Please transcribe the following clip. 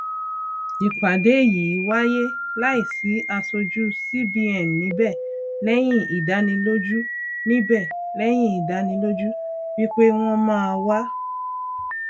ìpàdé yìí wáyé láì sì asojú cbn níbẹ lẹyìn ìdánilójú níbẹ lẹyìn ìdánilójú wípé wọn máa wá